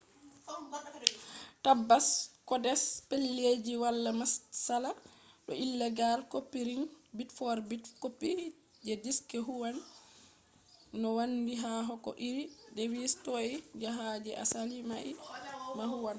tabbas codes pellelji wala matsala do illegal copying; bit-for-bit copy je disk huwwan no handi ha ko iri device toi je ha je asali mai ma huwwan